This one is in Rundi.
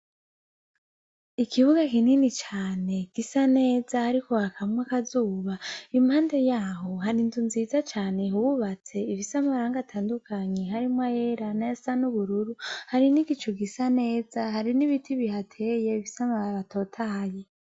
Ikibuga kinini cane gisa neza hariko hakamwo akazuba, impande yaho hari inzu nziza bubatse ifise amarangi atandukanye harimwo ayera nayasa n’ubururu, hari n’igicu gisa neza hari n’ibiti biteye bifise amababi atotahaye.